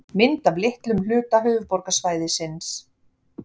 mynd af litlum hluta höfuðborgarsvæðisins